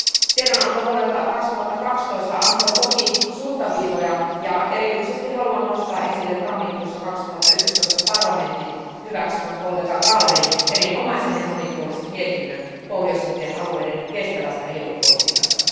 Tiedonanto vuodelta 2012 antoi toki suuntaviivoja, ja erityisesti haluan nostaa esille tammikuussa 2011 parlamentin hyväksymän kollega Gahlerin erinomaisen ja monipuolisen mietinnön pohjoisimpien alueiden kestävästä EU politiikasta.